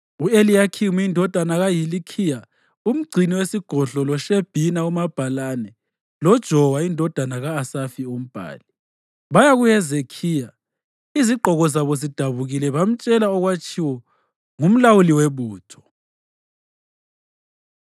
U-Eliyakhimu indodana kaHilikhiya umgcini wesigodlo loShebhina umabhalane loJowa indodana ka-Asafi umbhali, baya kuHezekhiya izigqoko zabo zidabukile bamtshela okwakutshiwo ngumlawuli webutho.